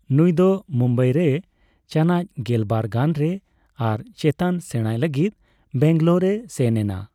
ᱱᱩᱭ ᱫᱚ ᱢᱩᱢᱵᱟᱭ ᱨᱮ ᱪᱟᱱᱟᱪ ᱜᱮᱞᱵᱟᱨ ᱜᱟᱱ ᱨᱮ ᱟᱨ ᱪᱮᱛᱟᱱ ᱥᱮᱬᱟᱭ ᱞᱟᱹᱜᱤᱫ ᱵᱮᱭᱝᱜᱽᱞᱚᱨ ᱮ ᱥᱮᱱ ᱮᱱᱟ᱾